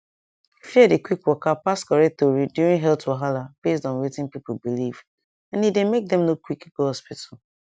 fear dey quick waka pass correct tori during health wahala based on wetin people believe and e dey make dem no quick go hospital